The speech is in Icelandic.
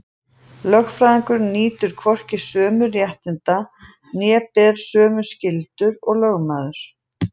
Lögfræðingur nýtur hvorki sömu réttinda né ber sömu skyldur og lögmaður.